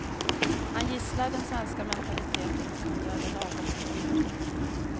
Han gisslar den svenska mentaliteten och han gör det lagom hårt.